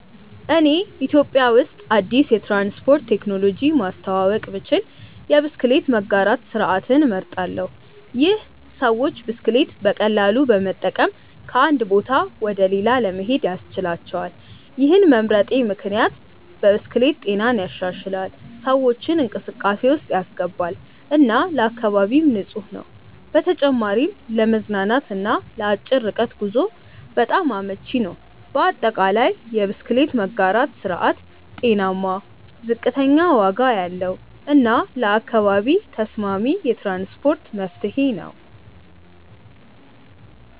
እኔ ኢትዮጵያ ውስጥ አዲስ የትራንስፖርት ቴክኖሎጂ ማስተዋወቅ ብችል የብስክሌት መጋራት ስርዓትን እመርጣለሁ። ይህ ሰዎች ብስክሌት በቀላሉ በመጠቀም ከአንድ ቦታ ወደ ሌላ ለመሄድ ያስችላቸዋል። ይህን መምረጤ ምክንያት ብስክሌት ጤናን ይሻሻላል፣ ሰዎችን እንቅስቃሴ ውስጥ ያስገባል እና ለአካባቢም ንፁህ ነው። በተጨማሪም ለመዝናናት እና ለአጭር ርቀት ጉዞ በጣም አመቺ ነው። በአጠቃላይ፣ የብስክሌት መጋራት ስርዓት ጤናማ፣ ዝቅተኛ ዋጋ ያለው እና ለአካባቢ ተስማሚ የትራንስፖርት መፍትሄ ነው።